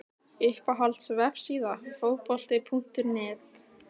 Uppáhalds vefsíða? Fótbolti.net